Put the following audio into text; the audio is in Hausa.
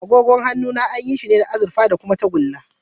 Agogona an yi shi ne da azurfa da kuma tagulla.